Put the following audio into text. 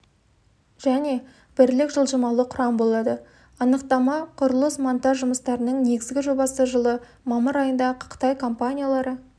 және бірлік жылжымалы құрам болады анықтама құрылыс-монтаж жұмыстарының негізгі жобасы жылы мамыр айында қытай компаниялары